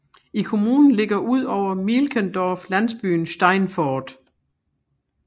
I kommunen ligger udover Mielkendorf landsbyen Steinfort